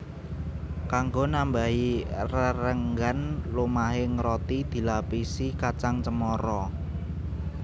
Kanggo nambahi rerenggan lumahing roti dilapisi kacang cemara